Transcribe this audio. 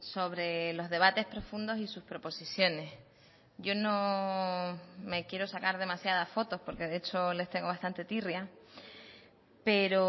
sobre los debates profundos y sus proposiciones yo no me quiero sacar demasiadas fotos porque de hecho les tengo bastante tirria pero